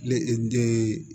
Ne e den